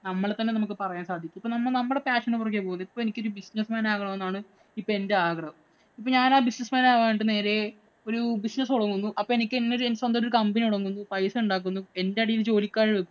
നമ്മളെ തന്നെ നമ്മക്ക് പറയാൻ സാധിക്കും. നമ്മള് passion ഉ പുറകെ പോകുന്നു. ഇപ്പം എനിക്ക് ഒരു business man ആകണമെന്നാണ് ഇപ്പം എന്‍റെ ആഗ്രഹം. അപ്പൊ ഞാന്‍ ആ business man ആവാനായിട്ട് നേരെ ഒരു business തുടങ്ങുന്നു. അപ്പൊ എനിക്ക് ഒരു company തുടങ്ങുന്നു. പൈസ ഉണ്ടാക്കുന്നു. എന്‍റെ അടീല് ജോലിക്കാരെ വയ്ക്കുന്നു.